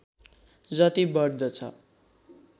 जति बढ्दछ